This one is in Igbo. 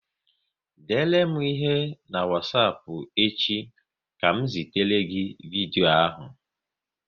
Dere m ihe n'wasapu echi ka m zitere gị vidyo ahu